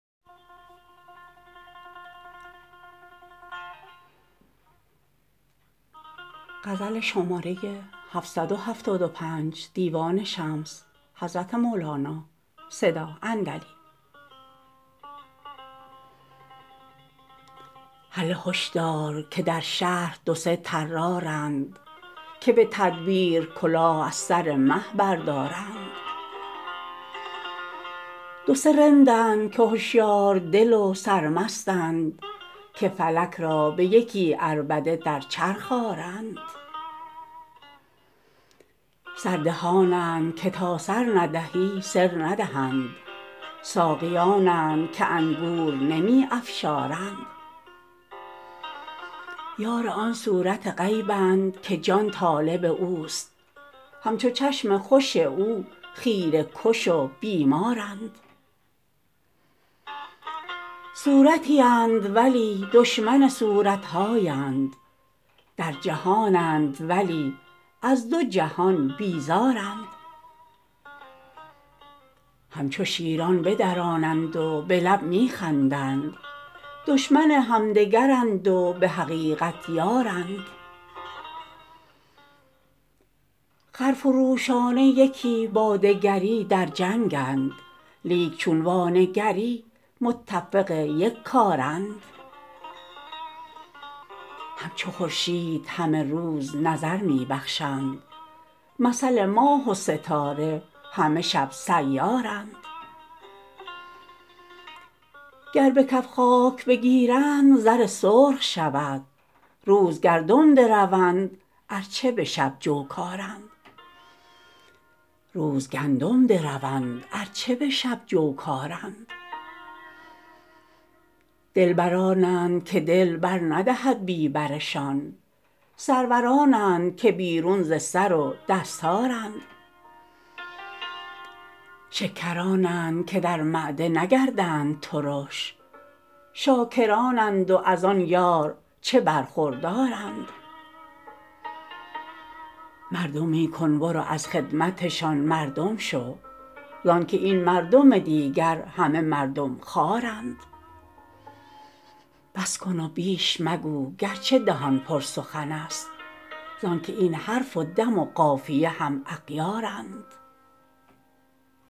هله هش دار که در شهر دو سه طرارند که به تدبیر کله از سر مه بردارند دو سه رندند که هشیار دل و سرمستند که فلک را به یکی عربده در چرخ آرند سر دهانند که تا سر ندهی سر ندهند ساقیانند که انگور نمی افشارند یار آن صورت غیبند که جان طالب اوست همچو چشم خوش او خیره کش و بیمارند صورتی اند ولی دشمن صورت هایند در جهانند ولی از دو جهان بیزارند همچو شیران بدرانند و به لب می خندند دشمن همدگرند و به حقیقت یارند خرفروشانه یکی با دگری در جنگند لیک چون وانگری متفق یک کارند همچو خورشید همه روز نظر می بخشند مثل ماه و ستاره همه شب سیارند گر به کف خاک بگیرند زر سرخ شود روز گندم دروند ار چه به شب جو کارند دلبرانند که دل بر ندهد بی برشان سرورانند که بیرون ز سر و دستارند شکرانند که در معده نگردند ترش شاکرانند و از آن یار چه برخوردارند مردمی کن برو از خدمتشان مردم شو زان که این مردم دیگر همه مردم خوارند بس کن و بیش مگو گرچه دهان پر سخنست زان که این حرف و دم و قافیه هم اغیارند